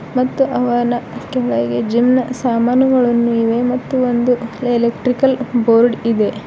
ಮತ್ತ ಅವನ ಕೆಳಗೆ ಜಿಮ್ ಸಾಮಾನುಗಳನ್ನೂ ಇವೆ ಮತ್ತು ಒಂದು ಎಲೆಕ್ಟ್ರಿಕಲ್ ಬೋರ್ಡ್ ಇದೆ.